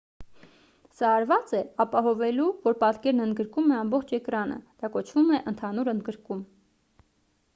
սա արված է ապահովելու որ պատկերն ընդգրկում է ամբողջ էկրանը դա կոչվում է ընդհանուր ընդգրկում